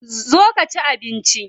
Zo ka ci abinci.